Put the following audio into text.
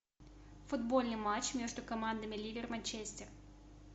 футбольный матч между командами ливер манчестер